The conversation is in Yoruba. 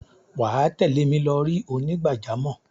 wà á tẹ̀lé mi lọri onígbàjámọ̀.